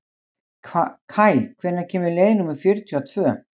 Kaj, hvenær kemur leið númer fjörutíu og tvö?